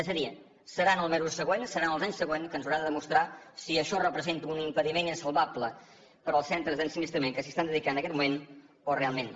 és a dir serà en els mesos següents serà en els anys següents que ens hauran de demostrar si això representa un impediment insalvable per als centres d’ensinistrament que s’hi estan dedicant aquest moment o realment no